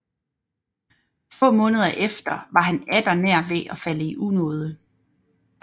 Få måneder efter var han atter nær ved at falde i unåde